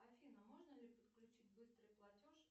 афина можно ли подключить быстрый платеж